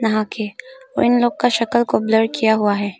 नहा के और इनलोग का शक्ल को ब्लर किया हुआ है।